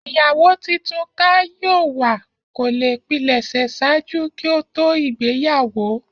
Iyawo titun ká yoo wa ko le pilẹsẹ ṣaaju ki o to igbeyawo